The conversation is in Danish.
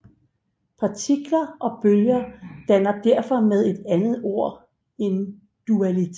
Partikler og bølger danner derfor med et andet ord en dualitet